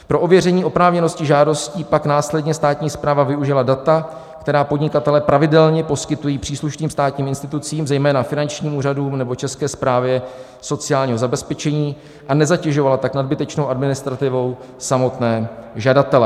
Pro ověření oprávněnosti žádostí pak následně státní správa využila data, která podnikatelé pravidelně poskytují příslušným státním institucím, zejména finančním úřadům nebo České správě sociálního zabezpečení, a nezatěžovala tak nadbytečnou administrativou samotné žadatele."